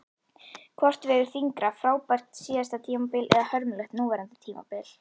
Hvort vegur þyngra, frábært síðasta tímabil eða hörmulegt núverandi tímabil?